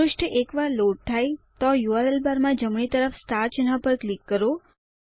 પૃષ્ઠ એકવાર લોડ થાય તો યુઆરએલ બારમાં જમણી તરફ સ્ટાર ચિહ્ન પર ક્લિક કરો